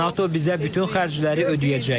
NATO bizə bütün xərcləri ödəyəcək.